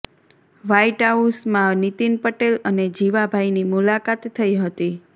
white હાઉસમાં નીતિન પટેલ અને જીવાભાઈની મુલાકાત થઈ હતી